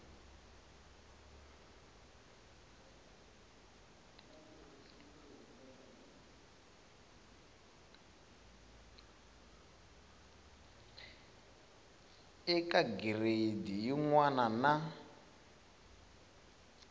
eka gireyidi yin wana na